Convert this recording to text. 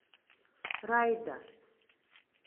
райда